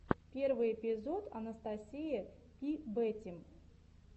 первый эпизод анастасия пи бэтим